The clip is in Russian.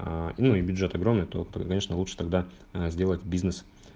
аа ну и бюджет огромный то конечно лучше тогда сделать бизнес